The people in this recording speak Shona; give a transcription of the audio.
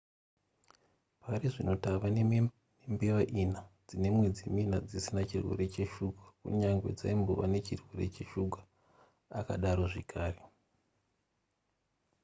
pari zvino tave nembeva ina-dzine mwedzi-mina dzisina chirwere cheshuga kunyange dzaimbova nechirwere cheshuga akadaro zvakare